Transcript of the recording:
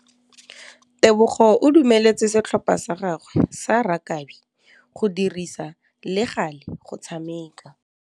Tebogô o dumeletse setlhopha sa gagwe sa rakabi go dirisa le galê go tshameka.